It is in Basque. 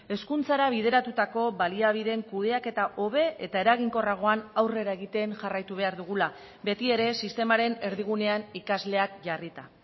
hezkuntzara bideratutako baliabideen kudeaketa hobe eta eraginkorragoan aurrera egiten jarraitu behar dugula beti ere sistemaren erdigunean ikasleak jarrita